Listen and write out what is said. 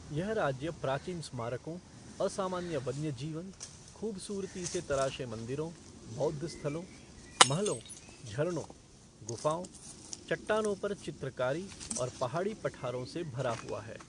यह राज्य प्राचीन स्मारकों, असामान्य वन्य जीवन, ख़ूबसूरती से तराशे मंदिरों, बौद्ध स्थलों, महलों, झरनों, गुफाओं, चट्टानों पर चित्रकारी और पहाड़ी पठारों से भरा हुआ है।